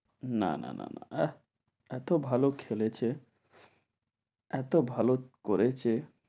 না না না না আহ এত ভালো খেলেছে, এত ভালো করেছে।